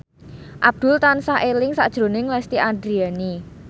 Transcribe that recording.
Abdul tansah eling sakjroning Lesti Andryani